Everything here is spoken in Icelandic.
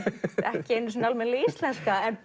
ekki einu sinni almennileg íslenska en